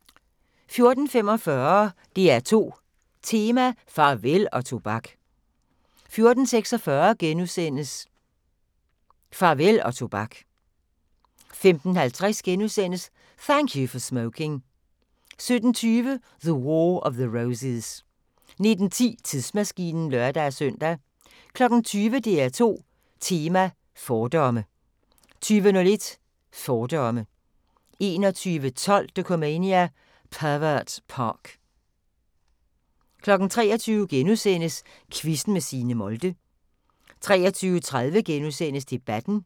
14:45: DR2 Tema: Farvel og tobak 14:46: Farvel og tobak * 15:50: Thank You for Smoking * 17:20: The War of the Roses 19:10: Tidsmaskinen (lør-søn) 20:00: DR2 Tema: Fordomme 20:01: Fordomme 21:12: Dokumania: Pervert Park 23:00: Quizzen med Signe Molde * 23:30: Debatten *